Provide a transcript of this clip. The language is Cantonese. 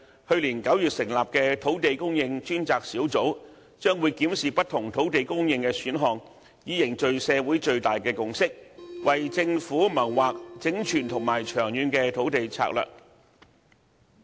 去年9月成立的土地供應專責小組，將會檢視不同土地供應的選項，以凝聚社會最大共識，為政府謀劃整全和長遠的土地策略。